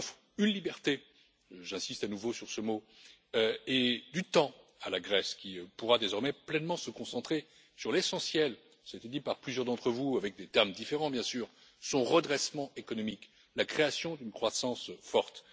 Il offre une liberté j'insiste à nouveau sur ce mot et du temps à la Grèce qui pourra désormais pleinement se concentrer sur l'essentiel cela a été dit par plusieurs d'entre vous, avec des termes différents, bien sûr à savoir son redressement économique, la création d'une croissance forte.